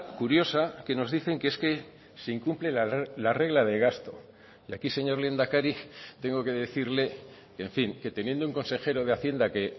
curiosa que nos dicen que es que se incumple la regla de gasto y aquí señor lehendakari tengo que decirle en fin que teniendo un consejero de hacienda que